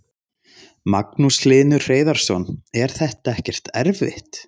Magnús Hlynur Hreiðarsson: Er þetta ekkert erfitt?